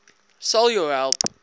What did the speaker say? sal jou help